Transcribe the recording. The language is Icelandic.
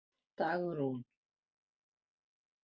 Dagrún